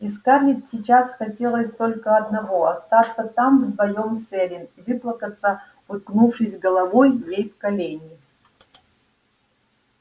и скарлетт сейчас хотелось только одного остаться там вдвоём с эллин и выплакаться уткнувшись головой ей в колени